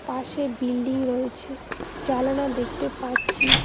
পাশে বিল্ডিং রয়েছে জালানা দেখতে পাচ্ছি।